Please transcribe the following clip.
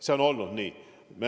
Siis pilt on halvem.